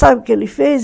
Sabe o que ele fez?